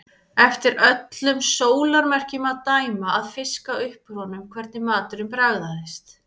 Eftir öllum sólarmerkjum að dæma að fiska upp úr honum hvernig maturinn bragðaðist.